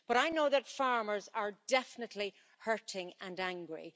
But I know that farmers are definitely hurting and angry.